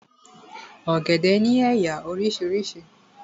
Ọ̀gẹ̀dẹ̀ ni éyá orísirísi